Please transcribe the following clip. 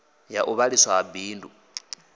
ya u ṅwaliswa ha bindu